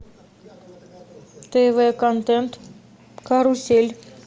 тв контент карусель